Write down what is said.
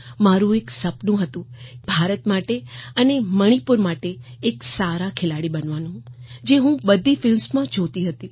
મારું એક સપનું હતું કે ભારત માટે અને મણીપુર માટે એક સારા ખેલાડી બનવાનું જે હું બધી ફિલ્મ્સમાં જોતી હતી